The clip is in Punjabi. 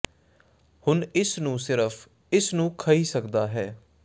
ਹੁਣ ਇਸ ਨੂੰ ਸਿਰਫ ਇਸ ਨੂੰ ਖਹਿ ਸਕਦਾ ਹੈ